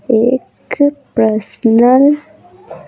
एक पर्सनल --